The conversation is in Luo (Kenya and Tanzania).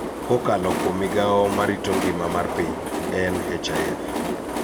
Kokalo kuom migao ma rito ngima mar piny (NHIF).